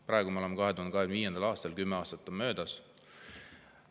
Praegu me oleme 2025. aastas, kümme aastat on möödas.